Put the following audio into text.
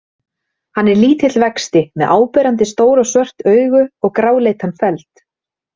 Hann er lítill vexti með áberandi stór og svört augu og gráleitan feld.